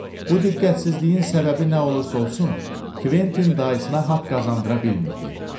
Bu diqqətsizliyin səbəbi nə olursa olsun, Kventin dayısına haqq qazandıra bilmirdi.